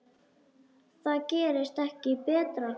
Það gerist ekki betra.